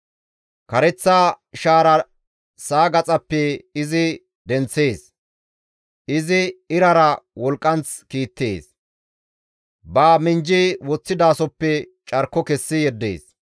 Kareththa shaara sa7a gaxappe izi denththees; izi irara wolqqanth kiittees; ba minjji woththidasoppe carko kessi yeddees.